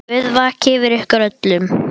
Guð vaki yfir ykkur öllum.